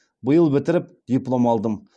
биыл бітіріп диплом алдым